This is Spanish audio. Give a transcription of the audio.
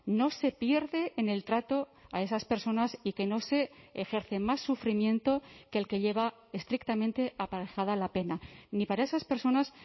no se pierde en el trato a esas personas y que no se ejerce más sufrimiento que el que lleva estrictamente aparejada la pena ni para esas personas